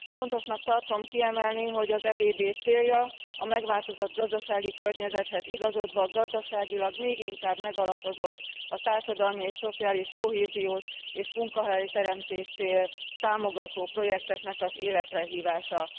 Fontosnak tartom kiemelni, hogy az EBB célja a megváltozott gazdasági környezethez igazodva gazdaságilag még inkább megalapozott a társadalmi és szociális kohéziót és munkahelyteremtést támogató projekteknek az életre hívása.